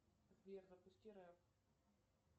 сбер запусти рэп